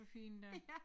For filan da